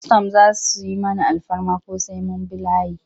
Kwastam za su yi mana alfarma ko sai mun bi layi?